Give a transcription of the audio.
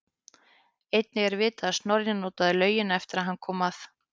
Einnig er vitað að Snorri notaði laugina eftir að hann kom að